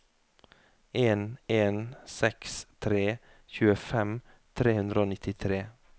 en en seks tre tjuefem tre hundre og nittitre